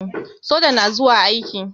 soja na zuwa yaki.